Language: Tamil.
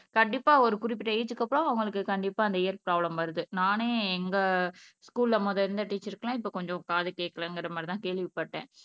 கண்டிப்பா ஒரு குறிப்பிட்ட ஏஜ்க்கு அப்புறம் அவங்களுக்கு கண்டிப்பா அந்த இயற் பிராபலம் வருது நானே எங்க ஸ்கூல்ல முதல்ல இருந்த டீச்சர்க்கெல்லாம் இப்ப கொஞ்சம் காது கேட்கலைங்கிற மாதிரிதான் கேள்விப்பட்டேன்